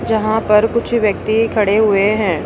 यहां पर कुछ व्यक्ति खड़े हुए हैं।